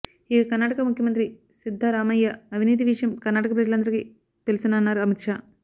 ఇక కర్నాటక ముఖ్యమంత్రి సిద్దరామయ్య అవినీతి విషయం కర్ణాటక ప్రజలందరికీ తెలుసన్నారు అమిత్ షా